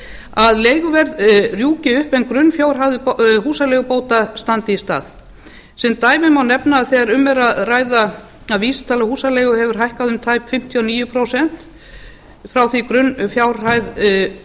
að leiguverð rjúki upp en grunnfjárhæð húsaleigubóta standi í stað sem dæmi má nefna að þegar um er að ræða að vísitala húsaleigu hefur hækkað um tæp fimmtíu og níu prósent frá því grunnfjárhæð